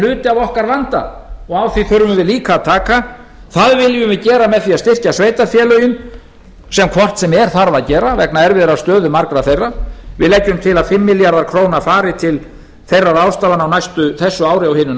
hluti af okkar vanda og á því þurfum við líka að taka það viljum við gera með því að styrkja sveitarfélögin sem hvort sem er þarf að gera vegna erfiðrar stöðu margra þeirra við leggjum til að fimm milljarðar króna fari til þeirra ráðstafana á þessu ári og hinu